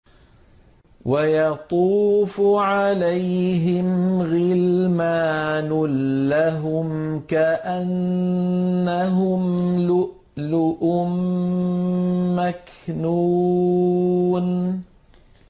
۞ وَيَطُوفُ عَلَيْهِمْ غِلْمَانٌ لَّهُمْ كَأَنَّهُمْ لُؤْلُؤٌ مَّكْنُونٌ